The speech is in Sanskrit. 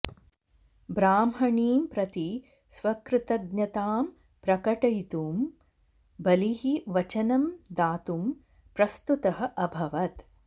ब्राह्मणीं प्रति स्वकृतज्ञतां प्रकटयितुं बलिः वचनं दातुं प्रस्तुतः अभवत्